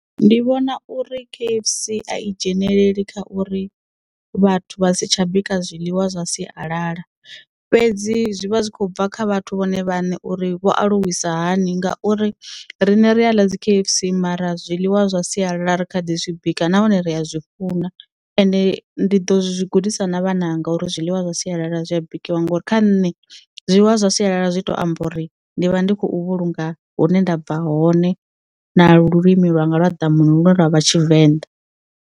Ndi vhona uri K_F_C a i dzhenelele kha uri vhathu vha si tsha bika zwiḽiwa zwa sialala fhedzi zwi vha zwi khou bva kha vhathu vhone vhaṋe uri vho aluwisa hani ngauri rine ri a ḽa dzi K_F_C mara zwiḽiwa zwa sialala ri kha ḓi zwi bika nahone ri a zwi funa and ndi ḓo zwi gudisa na vhananga uri zwiḽiwa zwa sialala zwi a bikiwa ngori kha nṋe zwiḽiwa zwa sialala zwi to amba uri ndi vha ndi khou vhulunga hune ndabva hone na lulimi lwanga lwa ḓamuni lune lwavha tshivenḓa.